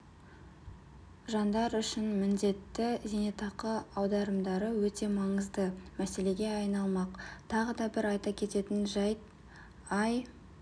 жандар үшін міндетті зейнетақы аударымдары өте маңызды мәселеге айналмақ тағы бір айта кететін жәйт ай